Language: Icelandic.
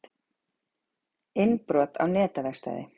Innbrot á netaverkstæði